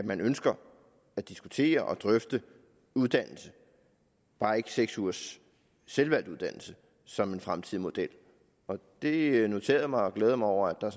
at man ønsker at diskutere og drøfte uddannelse bare ikke seks ugers selvvalgt uddannelse som en fremtidig model det noterede jeg mig og glæder mig over at der